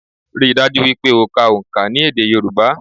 Ríi dájú wípé o ka òǹkà ní èdè Yorùbá